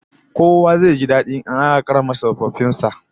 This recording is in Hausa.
Kowa zai ji dadi in aka karrama tsofaffin sa